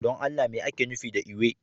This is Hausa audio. Don Allah me ake nufi da ewe?